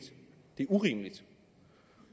det er urimeligt